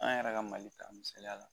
An yɛrɛ ka Mali ta misaliya la.